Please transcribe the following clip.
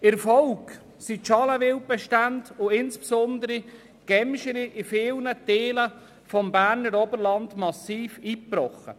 In der Folge sind die Bestände des Schalenwilds und insbesondere Gämsen in vielen Teilen des Berner Oberlands massiv eingebrochen.